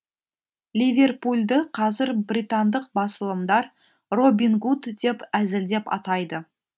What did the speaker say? ливерпульді қазір британдық басылымдар робин гуд деп әзілдеп атайды